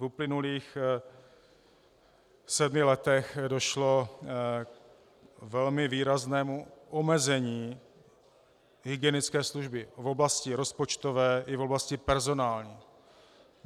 V uplynulých sedmi letech došlo k velmi výraznému omezení hygienické služby v oblasti rozpočtové i v oblasti personální.